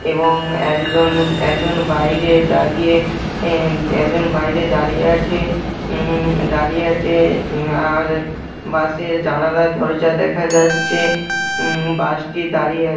এবং একজন একজন বাইরে দাঁড়িয়ে এ একজন বাইরে দাঁড়িয়ে আছে উ দাঁড়িয়ে আছে। আ-আর বাসের জানালা দরজা দেখা যাচ্ছে। উ বাসটি দাঁড়িয়ে আ --